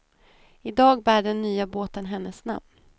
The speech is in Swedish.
I dag bär den nya båten hennes namn.